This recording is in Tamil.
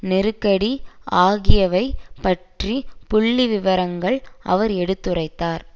நெருக்கடி ஆகியவை பற்றிய புள்ளிவிவரங்களை அவர் எடுத்துரைத்தார்